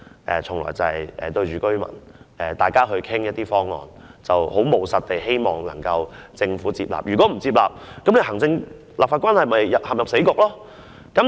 但是，我與居民討論有關方案時，向來是務實地希望可令政府接納意見，否則行政和立法關係便會陷入死局。